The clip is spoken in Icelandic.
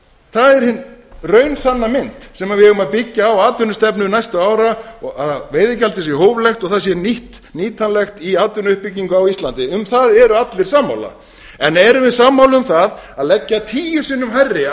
það er hin raunsanna mynd sem við eigum að byggja á atvinnustefnu næstu ára að veiðigjaldið sé hóflegt og það sé nýtanlegt í atvinnuuppbyggingu á íslandi um það eru allir sammála en erum við sammála um það að leggja tíu sinnum hærri